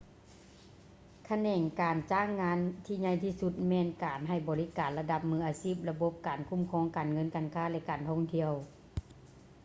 ຂະແໜງການຈ້າງງານທີ່ໃຫຍ່ທີ່ສຸດແມ່ນການໃຫ້ບໍລິການລະດັບມືອາຊີບ ລະບົບການຄູ້ມຄອງ ການເງິນ ການຄ້າ ແລະ ການທ່ອງທ່ຽວ